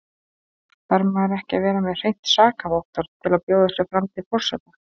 Þarf maður ekki að vera með hreint sakavottorð til að bjóða sig fram til forseta?